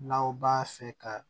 N'aw b'a fɛ ka